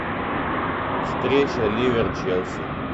встреча ливер челси